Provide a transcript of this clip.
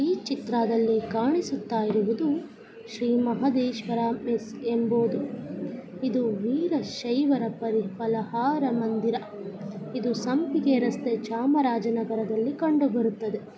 ಈ ಚಿತ್ರದಲ್ಲಿ ಕಾಣಿಸುತ್ತಇರುವುದು ಶ್ರೀ ಮಹದೇಶ್ವರ ಮೆಸ್ಸ್ ಎಂಬುವುದು. ಇದು ವೀರಶೈವರ ಪರಿ-ಫಲಹಾರ ಮಂದಿರ. ಇದು ಸಂಪಿಗೆ ರಸ್ತೆ ಚಾಮರಾಜನಗರದಲ್ಲಿ ಕಂಡುಬರುತ್ತದೆ.